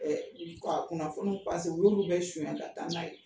ka kunnafoniw o ye olu bɛɛ sonyɛ ka taa n'a ye.